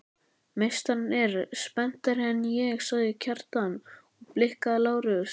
Meistarinn er spenntari en ég, sagði Kjartan og blikkaði Lárus.